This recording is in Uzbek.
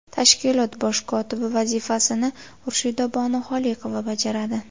Tashkilot bosh kotibi vazifasini Xurshidabonu Xoliqova bajaradi.